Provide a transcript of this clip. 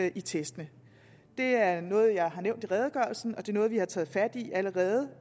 i testene det er noget jeg har nævnt i redegørelsen og det er noget vi har taget fat i allerede